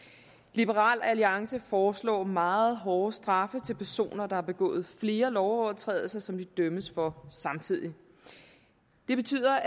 liberal alliance foreslår meget hårde straffe til personer der har begået flere lovovertrædelser som de dømmes for samtidig det betyder